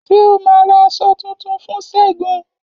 Ṣé o ma ra aṣọ tuntun fún segun?